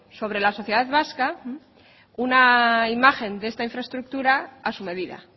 sobre la sociedad vasca una imagen de esta infraestructura a su medida